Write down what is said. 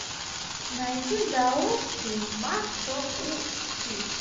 найди даосский маг чон у чхи